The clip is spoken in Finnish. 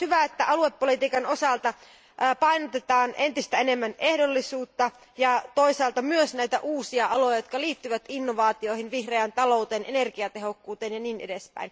On myös hyvä, että aluepolitiikan osalta painotetaan entistä enemmän ehdollisuutta ja toisaalta myös näitä uusia aloja, jotka liittyvät innovaatioihin, vihreään talouteen, energiatehokkuuteen ja niin edelleen.